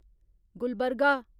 Gulbarga